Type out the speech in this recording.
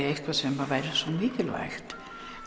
eitthvað sem væri svo mikilvægt